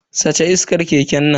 Sace iskar keken nan.